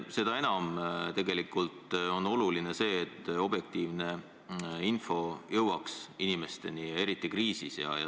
Seda enam on oluline, et objektiivne info jõuaks inimesteni, eriti kriisiajal.